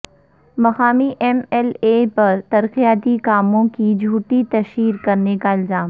مقامی M L A پر ترقیاتی کاموں کی جھوٹی تشہیر کرنے کا الزام